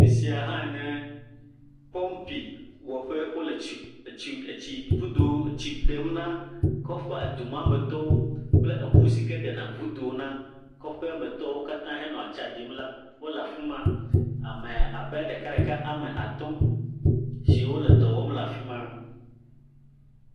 Afi sia hã nye pɔpi wɔƒe. wo le etsi etsi etsidodo etsi ɖem na kɔƒea edumametɔwo kple eŋu si ke ɖen ŋudo na kɔƒemetɔwo katã hena tsa ɖim la wole afi ma. Ame abe ame ɖekaɖeka wɔme atɔ̃ wo le dɔ wɔm le afi ma.